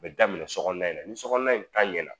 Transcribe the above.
A bɛ daminɛ sokɔnɔna in na ni sokɔnɔna in ta ɲɛna